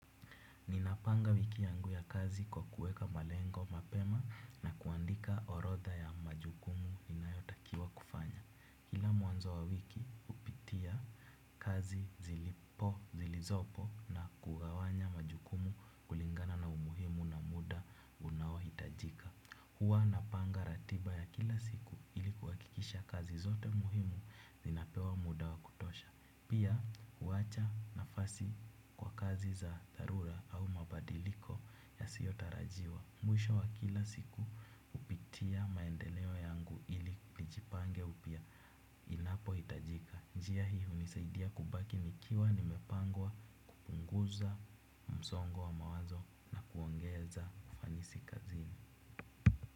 Ninapanga wiki yangu ya kazi kwa kuweka malengo mapema na kuandika orodha ya majukumu inayotakiwa kufanya. Kila mwanzo wa wiki hupitia kazi zilizopo na kugawanya majukumu kulingana na umuhimu na muda unao hitajika. Huwa napanga ratiba ya kila siku ili kuhakikisha kazi zote muhimu zinapewa muda wa kutosha. Pia kuacha nafasi kwa kazi za dharura au mabadiliko ya sio tarajiwa. Mwisho wa kila siku hupitia maendeleo yangu ili nijipange upia. Inapo hitajika. Njia hii hunisaidia kubaki nikiwa nimepangwa kupunguza msongo wa mawazo na kuongeza ufanisi kazini.